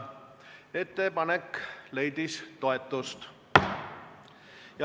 Ettepanek leidis toetust.